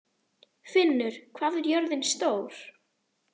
Finnur, hvað er jörðin stór?